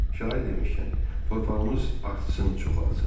Şair demişkən, torpağımız artsın, çoxalsın.